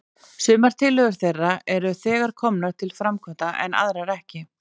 Sumar tillögur þeirra eru þegar komnar til framkvæmda, en aðrar ekki.